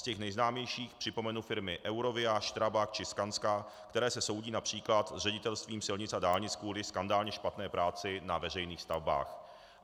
Z těch nejznámějších připomenu firmy Eurovia, STRABAG či SKANSKA, které se soudí například s Ředitelstvím silnic a dálnic kvůli skandálně špatné práci na veřejných stavbách.